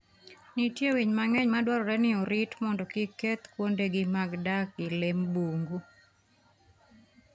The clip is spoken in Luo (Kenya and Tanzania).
Nitie winy mang'eny madwarore ni orit mondo kik keth kuondegi mag dak gi lee bungu.